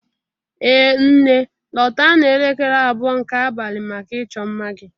Ee nne, lọta n'elekere abụọ nke abalị maka ịchọ mma gị